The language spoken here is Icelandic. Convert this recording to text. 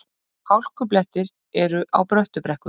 Hálkublettir eru á Bröttubrekku